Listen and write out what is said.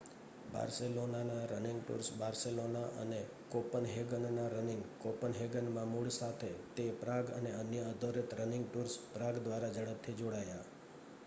બાર્સેલોનાના running tours Barcelona અને કોપનહેગનના running કોપનહેગનમાં મૂળ સાથે તે પ્રાગ અને અન્યો આધારિત રનિંગ ટૂર્સ પ્રાગ દ્વારા ઝડપથી જોડાયા